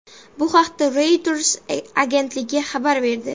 Bu haqda Reuters agentligi xabar berdi.